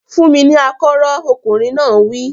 Fún mi ní akọ́rọ́! Ọkùnrin náà wí.